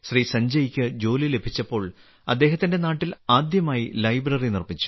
സഞ്ജയ്ക്ക് ജോലി ലഭിച്ചപ്പോൾ അദ്ദേഹത്തിന്റെ നാട്ടിൽ ആദ്യമായി ലൈബ്രറി നിർമ്മിച്ചു